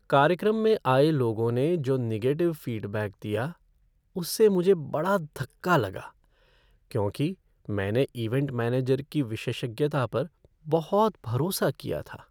कार्यक्रम में आए लोगों ने जो निगेटिव फ़ीडबैक दिया उससे मुझे बड़ धक्का लगा, क्योंकि मैंने इवैंट मैनेजर की विशेषज्ञता पर बहुत भरोसा किया था।